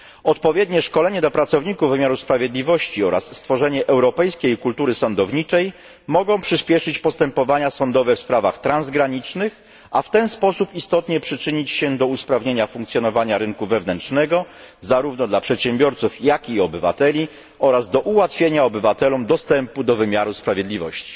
Odpowiednie szkolenie dla pracowników wymiaru sprawiedliwości oraz stworzenie europejskiej kultury sądowniczej mogą przyspieszyć postępowania sądowe w sprawach transgranicznych, a w ten sposób istotnie przyczynić się do usprawnienia funkcjonowania rynku wewnętrznego, zarówno dla przedsiębiorców, jak i obywateli oraz do ułatwienia obywatelom dostępu do wymiaru sprawiedliwości.